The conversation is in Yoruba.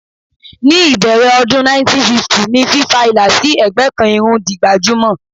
Ní ìbẹ̀rẹ̀ ọdún 1950 ni fífa ìlà sí ẹ̀gbẹ́ kan irun di gbajúmọ̀.